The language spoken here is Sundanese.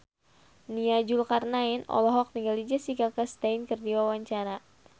Nia Zulkarnaen olohok ningali Jessica Chastain keur diwawancara